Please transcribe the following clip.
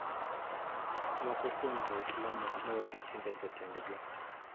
Moko kuom jo Isalm ok mor gi timbe jo tend gi.